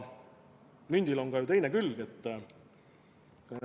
Mündil on ju ka teine külg.